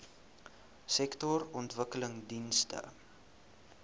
sektorontwikkelingdienste